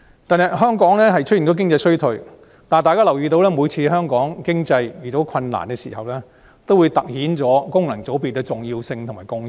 近日香港經濟已出現衰退，而每當香港遇上經濟困難，也凸顯出功能界別的重要性和貢獻。